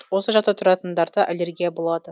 осы жақта тұратындарда аллергия болады